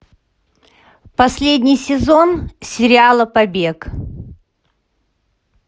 последний сезон сериала побег